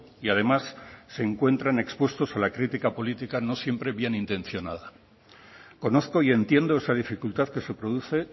y además se encuentran expuestos a la crítica política no siempre bien intencionada conozco y entiendo esa dificultad que se produce